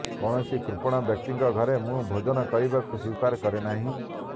କୌଣସି କୃପଣ ବ୍ୟକ୍ତିଙ୍କ ଘରେ ମୁଁ ଭୋଜନ କରିବାକୁ ସ୍ବୀକାର କରେନାହିଁ